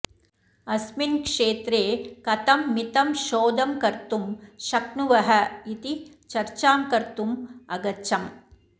अस्मिन् क्षेत्रे कथं मिथं शोधं कर्तुं शक्नुवः इति चर्चां कर्तुम् अगच्छम्